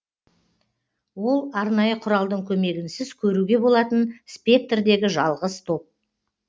ол арнайы құралдың көмегінсіз көруге болатын спектрдегі жалғыз топ